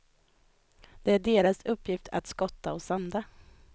Det är deras uppgift att skotta och sanda.